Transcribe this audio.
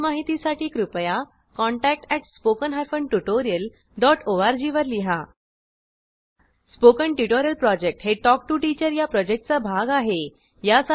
अधिक माहितीसाठी कृपया contact at spoken hyphen tutorial dot O R G वर लिहा स्पोकन ट्युटोरियल प्रॉजेक्ट हे टॉक टू टीचर या प्रॉजेक्टचा भाग आहे